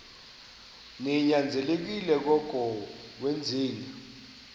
ninyanzelekile koko wenzeni